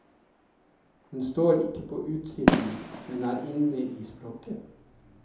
Hun står ikke på utsiden, men er inne i språket.